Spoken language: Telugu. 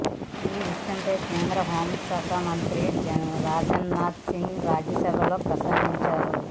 ఈ విషయంపై కేంద్ర హోంశాఖ మంత్రి రాజ్నాథ్ సింగ్ రాజ్యసభలో ప్రసంగించారు